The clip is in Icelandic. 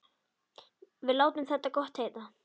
Við látum þetta gott heita.